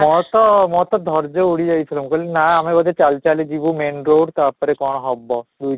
ମୋର ତ ମୋର ତ ଧର୍ଯ୍ୟ ଉଡି ଯାଇଥିଲା, ମୁଁ କହିଲି ନା ଆମେ ବୋଧେ ଚାଲି ଚାଲି ଯିବୁ main road ତା'ପରେ କ'ଣ ହବ ହୁଁ